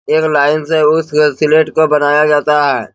एक लाइन से उस को बनया जाता है।